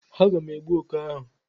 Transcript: Aga m egbu oké ahụ.